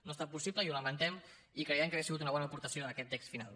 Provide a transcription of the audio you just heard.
no ha estat possible i ho lamentem i creiem que hauria sigut una bona aportació en aquest text final